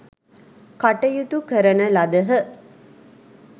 කටයුතු කරන ලදහ.